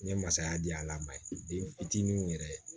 N ye masaya di a la ma ye den fitininw yɛrɛ